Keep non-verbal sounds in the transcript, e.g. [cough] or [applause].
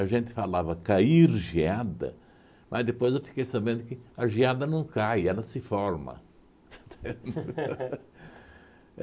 gente falava cair geada, mas depois eu fiquei sabendo que a geada não cai, ela se forma. [laughs]